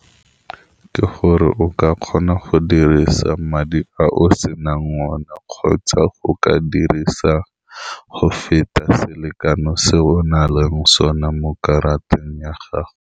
Ke gore o ka kgona go dirisa madi ao senang one, kgotsa go ka dirisa go feta selekano se o nang le sone mo karateng ya gago.